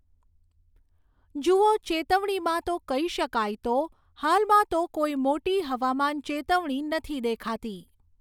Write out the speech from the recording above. જુઓ ચેતવણીમાં તો કહી શકાય તો હાલમાં તો કોઈ મોટી હવામાન ચેતવણી નથી દેખાતી